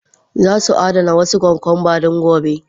Za su adana wasu cucumbers don gobe.